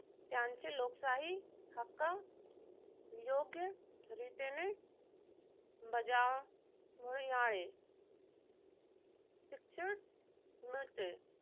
त्यांचे लोकशाही हक्क योग्यरितेने बजावणी करूण शिक्षण मिळते.